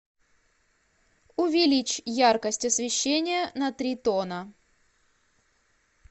увеличь яркость освещения на три тона